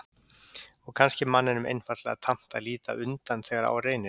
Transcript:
Og kannski er manninum einfaldlega tamt að líta undan þegar á reynir.